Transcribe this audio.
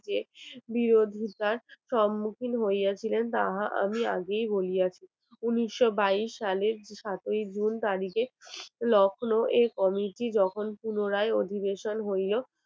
উনিশশো বাইশ সালের সাতই জুন তারিখে লখনও এক committee গঠন পুনরায় অধিবেশন হইল